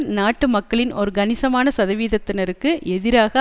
நாட்டு மக்களின் ஒரு கணிசமான சதவீதத்தினருக்கு எதிராக